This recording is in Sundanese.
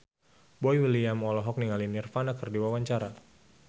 Boy William olohok ningali Nirvana keur diwawancara